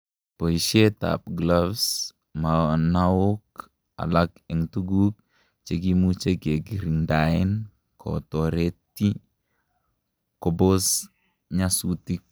boishet an gloves, munaok alak en tuguk chekimuche kekiringdaen kotoreti kobos nyasutik